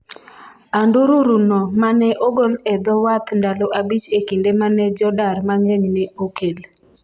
andururu no mane ogol e dho wath ndalo abich e kinde mane jodar mang'eny ne okel